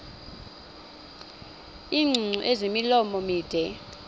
iingcungcu ezimilomo mide